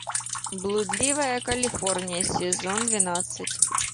блудливая калифорния сезон двенадцать